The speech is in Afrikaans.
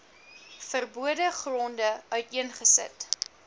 verbode gronde uiteengesit